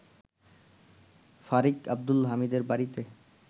ফারিক আব্দুল হামিদের বাড়িতে